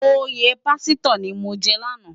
Óyè pàsitò ni mó jè làná